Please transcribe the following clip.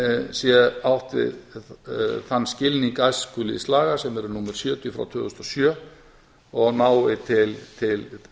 sé átt við þann skilning æskulýðslaga sem eru númer sjötíu tvö þúsund og sjö og nái til